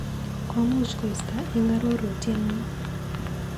Komuch koista eng arorutienyu.